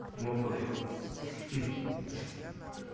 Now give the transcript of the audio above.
ну пофиг